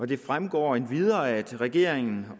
det fremgår endvidere at regeringen